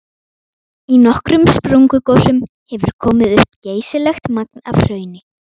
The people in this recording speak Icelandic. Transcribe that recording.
Í nokkrum sprungugosum hefur komið upp geysilegt magn af hrauni.